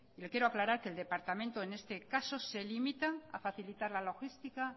le quiero aclarar que el departamento en este caso se limita a facilitar la logística